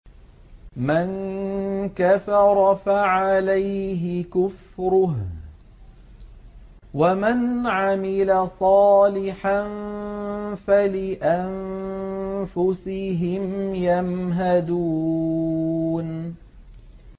مَن كَفَرَ فَعَلَيْهِ كُفْرُهُ ۖ وَمَنْ عَمِلَ صَالِحًا فَلِأَنفُسِهِمْ يَمْهَدُونَ